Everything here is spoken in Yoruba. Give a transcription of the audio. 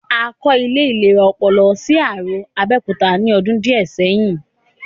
A kọ́ ilé ìlera ọpọlọ sí Arò, Abẹ́òkúta ní ọdún díẹ̀ sẹ́yìn